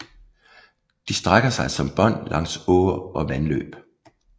De strækker sig som bånd langs åer og vandløb